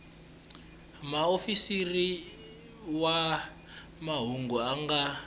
muofisiri wa mahungu a nga